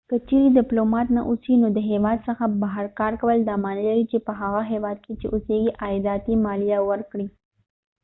که چیرې دپلومات نه اوسې نو د هیواد څخه بهر کارکول دا معنی لري چې په هغه هیواد کې چې اوسیږي عایداتي مالیه ورکړې